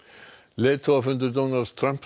leiðtogafundur Donalds Trump